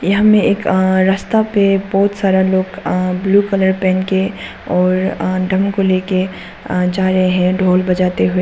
हमें एक अअ रास्ता पर बहुत सारे लोग अं ब्लू कलर पहन के और अं ड्रम को लेकर जा रहे हैं ढोल बजाते हुए।